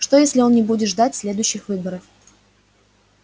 что если он не будет ждать следующих выборов